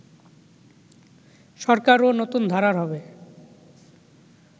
সরকারও নতুন ধারার হবে